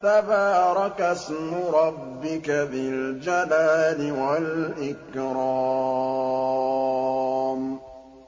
تَبَارَكَ اسْمُ رَبِّكَ ذِي الْجَلَالِ وَالْإِكْرَامِ